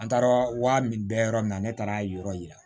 An taara wari min bɛ yɔrɔ min na ne taara yɔrɔ yira